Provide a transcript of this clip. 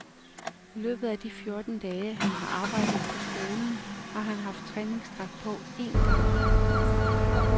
I løbet af de fjorten dage, han har arbejdet på skolen, har han haft træningsdragt på én gang.